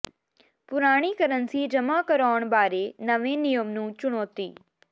ਪੁਰਾਣੀ ਕਰੰਸੀ ਜਮ੍ਹਾਂ ਕਰਾਉਣ ਬਾਰੇ ਨਵੇਂ ਨਿਯਮ ਨੂੰ ਚੁਣੌਤੀ